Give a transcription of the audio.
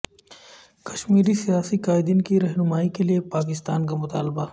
کشمیری سیاسی قائدین کی رہائی کیلئے پاکستان کا مطالبہ